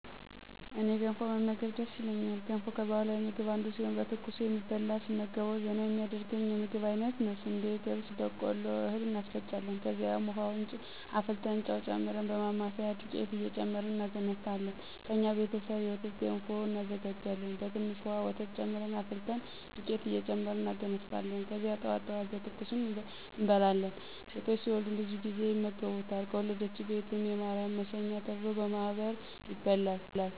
እኔ ገንፎ መመገብ ደስ ይለኛል ገንፎ ከባህላዊ ምግብ አንዱ ሲሆን በትኩሱ የሚበላ ስመገበዉ ዘና የሚያደርገኝ የምግብ አይነት ነዉ። ስንዴ፣ ገብስ፣ በቆሎ እህል እናስፈጫለን ከዚያም፦ ዉሀዉን አፍልተን ጨዉ ጨምረን በማማሰያ <ዱቄት እየጨመርን እናገነፋለን>ከእኛ ቤተሰብ የወተት ገንፎም እናዘጋጃሀን በትንሽ ዉሀ ወተት ጨምረን አፍልተን ዱቄት እየጨመርን እናገነፋለን ከዚያ ጠዋት ጠዋት በትኩሱ እንበላለን። ሴቶች ሲወልዱም ብዙ ጊዜ ይመገቡታል ከወለደችዉ ቤትም <የማርያም መሸኛ ተብሎ>በማህበር ይበላል።